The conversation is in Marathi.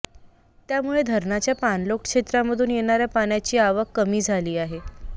त्यामुळे धरणाच्या पाणलोट क्षेत्रामधून येणाऱ्या पाण्याची आवक कमी झाली आहे